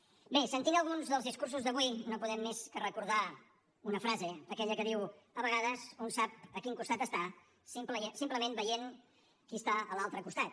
bé sentint alguns dels discursos d’avui no podem més que recordar una frase aquella que diu a vegades un sap a quin costat està simplement veient qui està a l’altre costat